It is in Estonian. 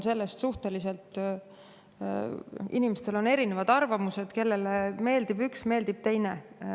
Inimestel on erinevad arvamused, kellele meeldib üks, kellele meeldib teine.